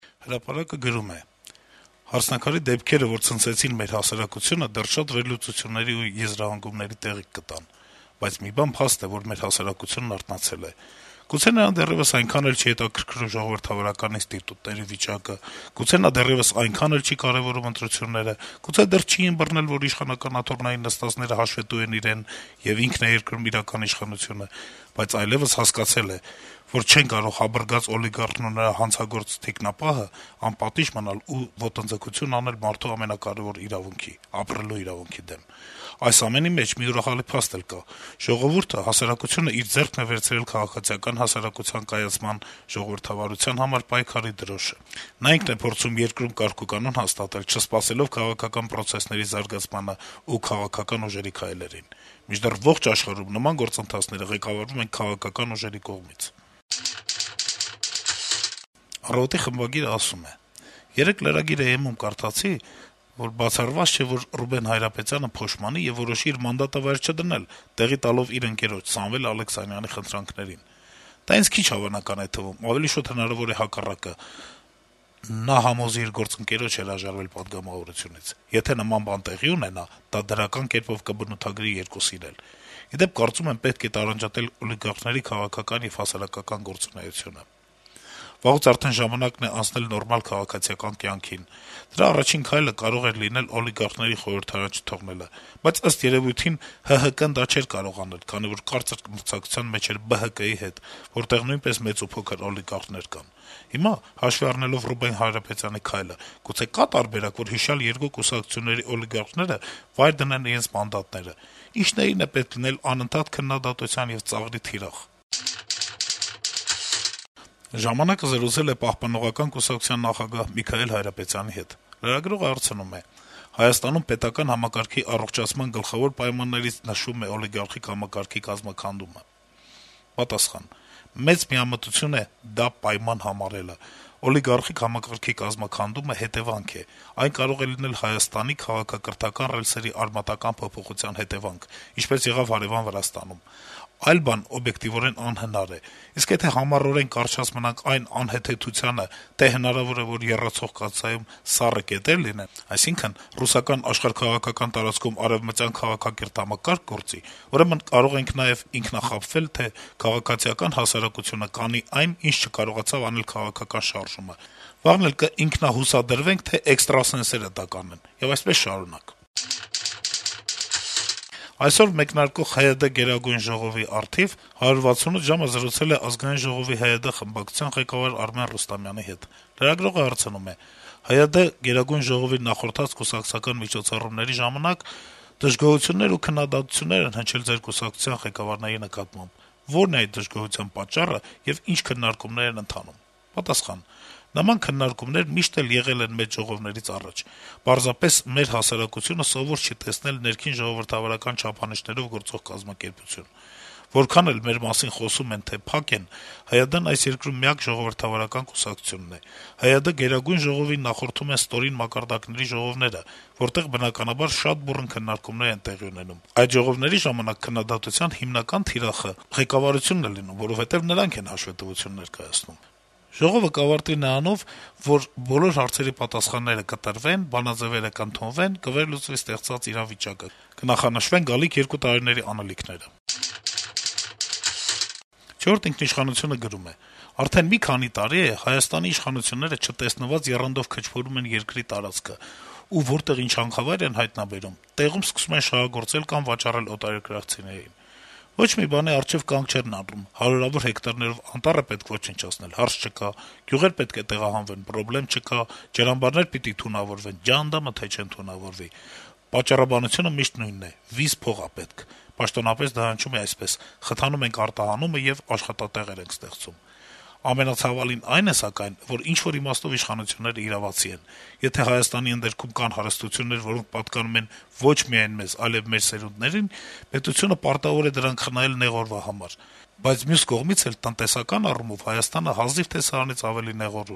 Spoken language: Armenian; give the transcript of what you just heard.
«Հրապարակ»-ը գրում է. - ««Հարսնաքարի» դեպքերը, որ ցնցեցին մեր հասարակությունը, դեռ շատ վերլուծությունների ու եզրահանգումների տեղիք կտան: Բայց մի բան փաստ է, որ մեր հասարակությունն արթնացել է: Գուցե նրան դեռեւս այնքան էլ չի հետաքրքրում ժողովրդավարական ինստիտուտների վիճակը, գուցե նա դեռեւս այնքան էլ չի կարեւորում ընտրությունները, գուցե դեռ չի ըմբռնել, որ իշխանական աթոռներին նստածները հաշվետու են իրեն, եւ ինքն է երկրում իրական իշխանությունը, բայց այլեւս հասկացել է, որ չեն կարող «հաբռգած» օլիգարխն ու նրա հանցագործ թիկնապահն անպատիժ մնալ եւ ոտնձգություն անել մարդու ամենակարեւոր իրավունքի՝ ապրելու իրավունքի դեմ: Այս ամենի մեջ մի ուրախալի փաստ էլ կա. ժողովուրդը, հասարակությունն իր ձեռքն է վերցրել քաղաքացիական հասարակության կայացման, ժողովրդավարության համար պայքարի դրոշը: Նա ինքն է փորձում երկրում կարգուկանոն հաստատել՝ չսպասելով քաղաքական պրոցեսների զարգացմանն ու քաղաքական ուժերի քայլերին: Մինչդեռ ողջ աշխարհում նման գործընթացները ղեկավարվում են քաղաքական ուժերի կողմից»: «Առավոտ»-ի խմբագիրը գրում է. - «Երեկ lragir.am-ում կարդացի՝ բացառված չէ, որ Ռուբեն Հայրապետյանը «փոշմանի» եւ որոշի իր մանդատը վայր չդնել՝ տեղի տալով իր ընկերոջ՝ Սամվել Ալեքսանյանի խնդրանքներին: Դա ինձ քիչ հավանական է թվում, ավելի շուտ հնարավոր է հակառակը՝ նա համոզի իր գործընկերոջը հրաժարվել պատգամավորությունից: Եթե նման բան տեղի ունենա, դա դրական կերպով կբնութագրի երկուսին էլ: Ի դեպ, կարծում եմ, պետք է տարանջատել օլիգարխների քաղաքական եւ հասարակական գործունեությունը: վաղուց արդեն ժամանակն է անցնել նորմալ «քաղաքացիական» կյանքին: Դրա առաջին քայլը կարող էր լինել օլիգարխներին խորհրդարան չթողնելը: Բայց, ըստ երեւույթին, ՀՀԿ-ն դա չէր կարող անել, քանի որ կարծր մրցակցության մեջ էր ԲՀԿ-ի հետ, որտեղ նույնպես մեծուփոքր օլիգարխներ կան: Հիմա, հաշվի առնելով Ռուբեն Հայրապետյանի քայլը, գուցե կա՞ տարբերակ, որ հիշյալ երկու կուսակցությունների օլիգարխները վայր դնեն իրենց մանդատները: Ինչների՞դ է պետք անընդհատ քննադատության եւ ծաղրի թիրախ լինելը»: «Ժամանակ»-ը զրուցել է Պահպանողական կուսակցության նախագահ Միքայել Հայրապետյանի հետ: Լրագրողը հարցնում է. - «Հայաստանում պետական համակարգի առողջացման գլխավոր պայմաններից նշվում է օլիգարխիկ համակարգի կազմաքանդումը»: Պատասխան. - «Մեծ միամտություն է դա պայման համարելը: Օլիգարխիկ համակարգի կազմաքանդումը հետեւանք է: Այն կարող է լինել Հայաստանի քաղաքակրթական ռելսերի արմատական փոփոխության հետեւանք, ինչպես եղավ հարեւան Վրաստանում: Այլ բան օբյեկտիվորեն անհնար է: Իսկ եթե համառորեն կառչած մնանք այն անհեթեթությանը, թե հնարավոր է, որ եռացող կաթսայում սառը կետեր լինեն, այսինքն` ռուսական աշխարհաքաղաքական տարածքում արեւմտյան քաղաքակիրթ համակարգ գործի, ուրեմն կարող ենք նաեւ ինքնախաբվել, թե քաղաքացիական հասարակությունը կանի այն, ինչ չկարողացավ անել քաղաքական շարժումը, վաղն էլ կինքնահուսադրվենք, թե էքստրասենսները դա կանեն: Եվ այսպես շարունակ»: Այսօր մեկնարկող ՀՅԴ գերագույն ժողովի առթիվ «168 ժամ»-ը զրուցել է կուսակցության խորհրդարանական խմբակցության ղեկավար Արմեն Ռուստամյանի հետ: Լրագրողը հարցնում է. - «ՀՅԴ գերագույն ժողովին նախորդած կուսակցական միջոցառումների ժամանակ դժգոհություններ ու քննադատություններ են հնչել ձեր կուսակցության ղեկավարների նկատմամբ: Ո՞րն է այդ դժգոհոության պատճառը, եւ ի՞նչ քննարկումներ են ընթանում»: Պատասխան. - «Նման քննարկումներ միշտ էլ եղել են մեծ ժողովներից առաջ, պարզապես մեր հասարակությունը սովոր չի տեսնել ներքին ժողովրդավարական չափանիշներով գործող կազմակերպություն: Որքան էլ մեր մասին խոսում են, թե փակ են, ՀՅԴ-ն այս երկրում միակ ժողովրդավարական կուսակցությունն է: ՀՅԴ Գերագույն ժողովին նախորդում են ստորին մակարդակների ժողովները, որտեղ, բնականաբար, շատ բուռն քննարկումներ են տեղի ունենում: Այդ ժողովների ժամանակ քննադատության ու դժգոհության հիմնական թիրախը ղեկավարությունն է լինում, որովհետեւ նրանք են հաշվետվություն ներկայացնում»: «Չորրորդ ինքնիշխանություն»-ը գրում է. - «Արդեն մի քանի տարի է` Հայաստանի իշխանությունները չտեսնված եռանդով քչփորում են երկրի տարածքը, ու որտեղ ինչ հանքավայր են հայտնաբերում` տեղում սկսում են շահագործել կամ վաճառել օտարերկրացիներին: Ոչ մի բանի առջեւ կանգ չեն առնում. հարյուրավոր հեկտարներով անտառ է պետք ոչնչացնել` հարց չկա, գյուղեր պետք է տեղահանվեն` պրոբլեմ չկա, ջրամբարներ պիտի թունավորվեն` ջանդամը, թե չեն թունավորվի: Պատճառաբանությունը միշտ նույնն է` «վիզ փող ա պետք» (պաշտոնապես դա հնչում է այսպես` խթանում ենք արտահանումը եւ աշխատատեղեր ենք ստեղծում): Ամենացավալին այն է սակայն, որ ինչ-որ իմաստով իշխանություններն իրավացի են: Եթե Հայաստանի ընդերքում կան հարստություններ, որոնք պատկանում են ոչ միայն մեզ, այլեւ մեր սերունդներին, պետությունը պարտավոր է դրանք խնայել «նեղ օրվա համար», բայց մյուս կողմից էլ` տնտեսական առումով Հայաստանը հազիվ թե սրանից ավելի «նեղ օր»